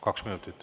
Kaks minutit.